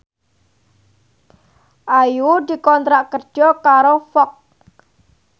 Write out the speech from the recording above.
Ayu dikontrak kerja karo Fox